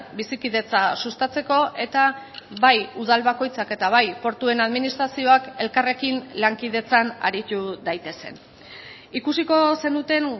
bizikidetza sustatzeko eta bai udal bakoitzak eta bai portuen administrazioak elkarrekin lankidetzan aritu daitezen ikusiko zenuten